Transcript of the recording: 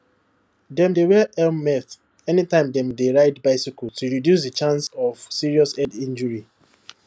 dem dey wear helmet anytime dem dey ride bicycle to reduce the chance of serious head injury